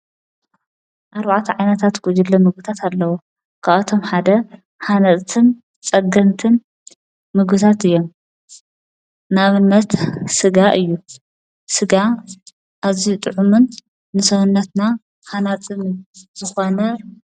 ኣርዋዓት ዓነታት ጐጅለ ምጉታት ኣለዉ ክኣቶም ሓደ ሓነፅትን ጸግንትን ምጉታት እየ ናብመት ሥጋ እዩ ሥጋ እዙይ ጥዑምን ንሠዉነትና ሓናፅንዘኾነ እዩ።